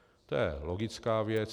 To je logická věc.